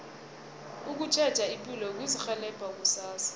ukutjheja ipilo kuzirhelebha kusasa